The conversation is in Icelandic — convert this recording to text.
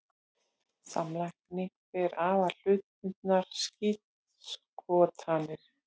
Samlagning ber afar hlutbundnar skírskotanir.